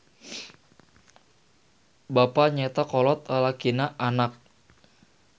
Bapa nyaeta kolot lalakina anak.